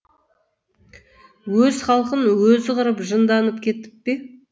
өз халқын өзі қырып жынданып кетіп пе